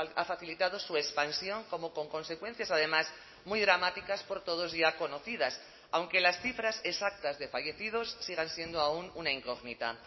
ha facilitado su expansión como con consecuencias además muy dramáticas por todos ya conocidas aunque las cifras exactas de fallecidos sigan siendo aún una incógnita